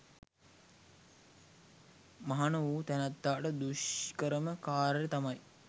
මහණ වුණ තැනැත්තාට දුෂ්කරම කාර්යය තමයි